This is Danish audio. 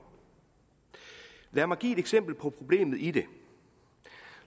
lad mig give et eksempel på problemet i det